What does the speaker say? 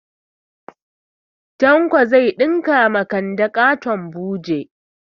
Tanko zai ɗinka ma kande ƙaton buje